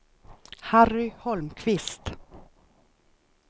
Harry Holmqvist